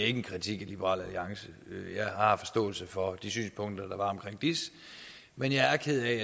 en kritik af liberal alliance jeg har forståelse for de synspunkter der var om diis men jeg er ked af